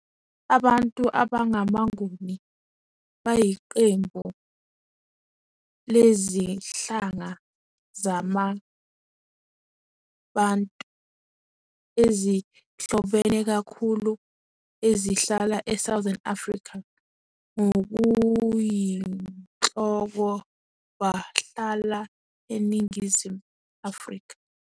Abantu abangamaNguni bayiqembu lezinhlanga zamaBantu ezihlobene kakhulu ezihlala eSouthern Africa. Ngokuyinhloko bahlala eNingizimu Afrika.